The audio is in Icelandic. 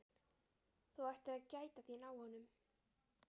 Þú ættir að gæta þín á honum